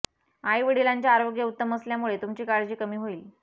आई वडिलांचे आरोग्य उत्तम असल्यामुळे तुमची काळजी कमी होईल